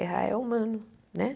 Errar é humano, né?